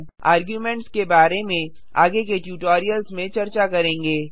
arguments के बारे में आगे के ट्यूटोरियल्स में चर्चा करेंगे